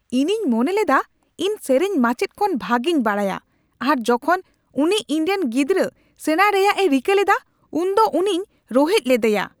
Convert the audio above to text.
ᱤᱧᱤᱧ ᱢᱚᱱᱮ ᱞᱮᱫᱟ ᱤᱧ ᱥᱮᱨᱮᱧ ᱢᱟᱪᱮᱫ ᱠᱷᱚᱱ ᱵᱷᱟᱜᱮᱧ ᱵᱟᱰᱟᱭᱼᱟ ᱟᱨ ᱡᱚᱠᱷᱚᱱ ᱩᱱᱤ ᱤᱧᱨᱮᱱ ᱜᱤᱫᱽᱨᱟᱹᱥᱮᱬᱟ ᱨᱮᱭᱟᱜ ᱮ ᱨᱤᱠᱟᱹ ᱞᱮᱫᱟ ᱩᱱ ᱫᱚ ᱩᱱᱤᱧ ᱨᱳᱦᱮᱫ ᱞᱮᱫᱮᱭᱟ ᱾